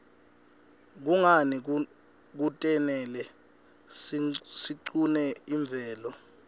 kunqani kutnele siqune imvelo